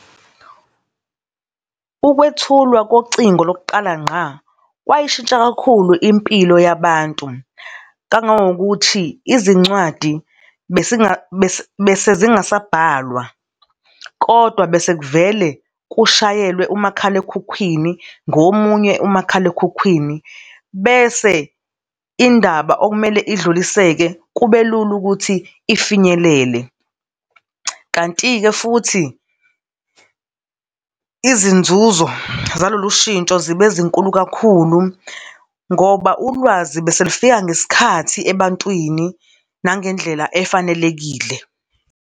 Ukwethulwa kocingo lokuqala ngqa kwayishintsha kakhulu impilo yabantu, kangangokuthi izincwadi bese zingasabhatalwa, kodwa bese kuvele kushayelwe umakhalekhukhwini, ngomunye umakhalekhukhwini, bese indaba okumele idluliseke kube lula ukuthi ifinyelele. Kanti-ke futhi izinzuzo zalolu ushintsho zibe zinkulu kakhulu ngoba ulwazi beselifika ngesikhathi ebantwini nangendlela efanelekile.